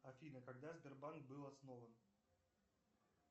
афина когда сбербанк был основан